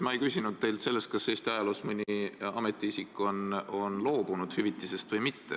Ma ei küsinud teilt selle kohta, kas Eesti ajaloos on mõni ametiisik hüvitisest loobunud või mitte.